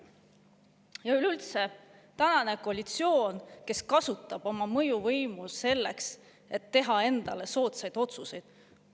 Ja üleüldse, tänane koalitsioon kasutab oma mõjuvõimu selleks, et teha endale soodsaid otsuseid.